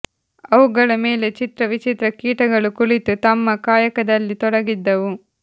ಅವುಗಳ ಮೇಲೆ ಚಿತ್ರ ವಿಚಿತ್ರ ಕೀಟಗಳು ಕುಳಿತು ತಮ್ಮ ಕಾಯಕದಲ್ಲಿ ತೊಡಗಿದ್ದವು